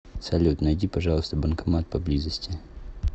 салют найди пожалуйста банкомат поблизости